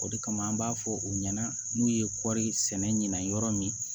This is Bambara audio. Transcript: O de kama an b'a fɔ u ɲɛna n'u ye kɔɔri sɛnɛ ɲina yɔrɔ min